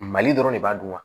Mali dɔrɔn de b'a dun wa